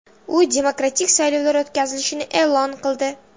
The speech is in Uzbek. U demokratik saylovlar o‘tkazilishini e’lon qildi.